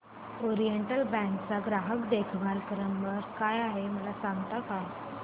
oriental bank चा ग्राहक देखभाल नंबर काय आहे मला सांगता का